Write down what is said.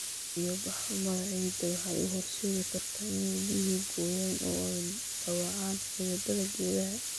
Biyo-bax-xumada ciidda waxay u horseedi kartaa inay biyuhu gooyaan oo ay dhaawacaan xididdada geedaha.